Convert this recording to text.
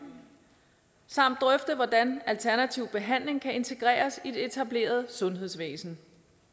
samt drøfte hvordan alternativ behandling kan integreres i det etablerede sundhedsvæsen